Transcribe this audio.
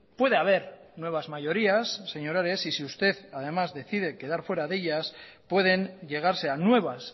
puede haber nuevas mayorías señor ares y si usted además decide quedar fuera de ellas pueden llegarse a nuevas